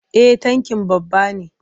Eh tankin babba ne.